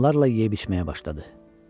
Onlarla yeyib-içməyə başladı.